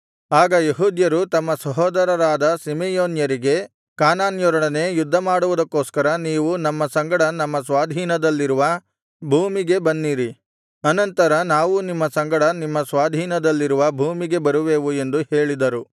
ಆಗ ಯೆಹೂದ್ಯರು ತಮ್ಮ ಸಹೋದರರಾದ ಸಿಮೆಯೋನ್ಯರಿಗೆ ಕಾನಾನ್ಯರೊಡನೆ ಯುದ್ಧಮಾಡುವುದಕ್ಕೋಸ್ಕರ ನೀವು ನಮ್ಮ ಸಂಗಡ ನಮ್ಮ ಸ್ವಾಧೀನದಲ್ಲಿರುವ ಭೂಮಿಗೆ ಬನ್ನಿರಿ ಅನಂತರ ನಾವೂ ನಿಮ್ಮ ಸಂಗಡ ನಿಮ್ಮ ಸ್ವಾಧೀನದಲ್ಲಿರುವ ಭೂಮಿಗೆ ಬರುವೆವು ಎಂದು ಹೇಳಿದರು